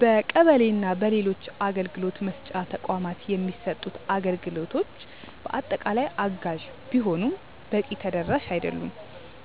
በቀበሌ እና በሌሎች አገልግሎት መስጫ ተቋማት የሚሰጡት አገልግሎቶች በአጠቃላይ አጋዥ ቢሆኑም በቂ ተደራሽ አይደሉም።